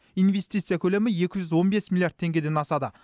инвестиция көлемі екі жүз он бес миллиард теңгеден асады